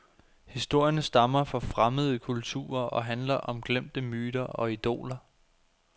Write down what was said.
Historierne stammer fra fremmede kulturer og handler om glemte myter og idoler.